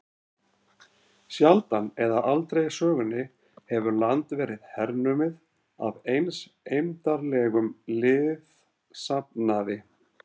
Sjaldan eða aldrei í sögunni hefur land verið hernumið af eins eymdarlegum liðsafnaði.